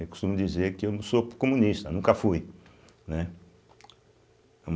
Eu costumo dizer que eu não sou comunista, nunca fui, né.